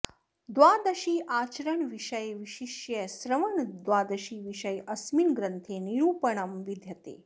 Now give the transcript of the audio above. द्वादशी आचरणविषये विशिष्य श्रवणद्वादशी विषये अस्मिन् ग्रन्थे निरूपणं विद्यते